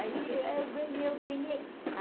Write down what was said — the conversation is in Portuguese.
Aí eu ganhei, eu ganhei.